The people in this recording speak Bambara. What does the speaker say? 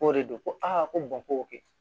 K'o de don ko a ko ko kɛ